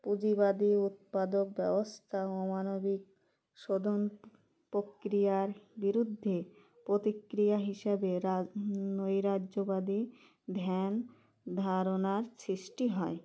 পুঁজিবাদী উৎপাদক ব্যবস্থা অমানবিক শোধন প্রক্রিয়ার বিরুদ্ধে প্রতিক্রিয়া হিসাবে রা আ নৈরাজ্যবাদী ধ্যান ধারণার সৃষ্টি হয়